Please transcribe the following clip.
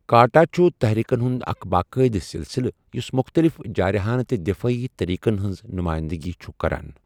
کاٹا چھُ تحریکن ہُنٛد اکھ باقاعدٕ سلسلہٕ یُس مُختلف جارحانہٕ تہٕ دفٲعی طریقَن ہنٛز نمائندگی چھُ کران۔